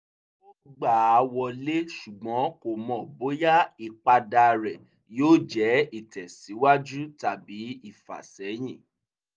ó gbà á wọlé ṣùgbọ́n kò mọ̀ bóyá ìpadà rẹ́ yóò jẹ́ ìtẹ̀síwájú tàbí ìfàsẹ́yìn